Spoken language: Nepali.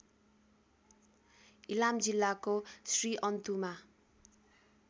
इलाम जिल्लाको श्रीअन्तुमा